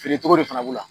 Feere cogo de fana b'u la